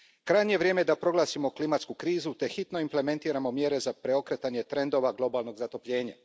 Krajnje je vrijeme da proglasimo klimatsku krizu te hitno implementiramo mjere za preokretanje trendova globalnog zatopljenja.